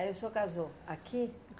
Aí o senhor casou aqui?